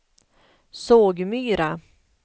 Sågmyra